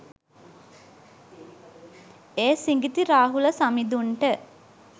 ඒ සිඟිති රාහුල සමිඳුන්ට